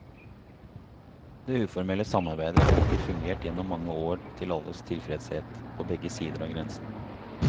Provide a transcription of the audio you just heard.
Det uformelle samarbeidet har hittil fungert gjennom mange år til alles tilfredshet på begge sider av grensen.